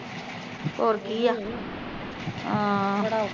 ਹੋਰ ਕੀ ਆ ਆਹ